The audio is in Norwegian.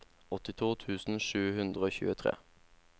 åttito tusen sju hundre og tjuetre